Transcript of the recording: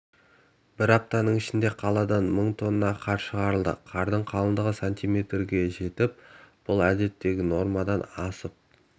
бір апта ішінде қаладан мың тонна қар шығарылды қардың қалыңдығы сантиметрге жетіп бұл әдеттегі нормадан асып